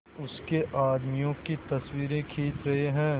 उसके आदमियों की तस्वीरें खींच रहे हैं